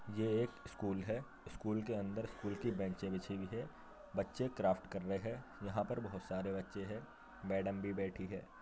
ये एक स्कूल है। स्कूल के अंदर स्कूल की बेंचे बिछी हुई हैं। बच्चे क्राफ्ट कर रहे हैं। यहां पर बहुत सारे बच्चे हैं। मैडम भी बैठी है।